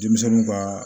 Denmisɛnninw kaa